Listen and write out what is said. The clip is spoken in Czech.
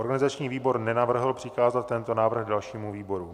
Organizační výbor nenavrhl přikázat tento návrh dalšímu výboru.